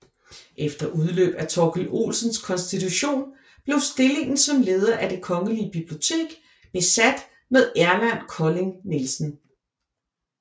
Efter udløb af Torkil Olsens konstitution blev stillingen som leder af Det Kongelige Bibliotek besat med Erland Kolding Nielsen